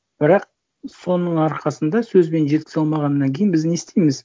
бірақ соның арқасында сөзбен жеткізе алмағаннан кейін біз не істейміз